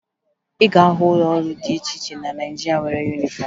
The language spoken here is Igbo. Ị ga-ahụ ụlọ ọrụ dị iche iche na Naịjirịa nwere yunifọmụ